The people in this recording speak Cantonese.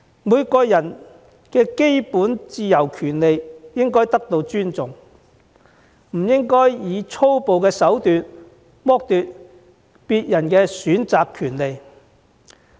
每個人的基本自由權利應該得到尊重，我們不應以粗暴的手段剝奪別人的選擇權利。